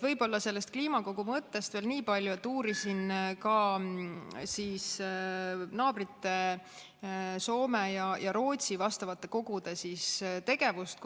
Võib-olla sellest kliimakogu mõttest veel nii palju, et uurisin ka naabrite, Soome ja Rootsi vastavate kogude tegevust.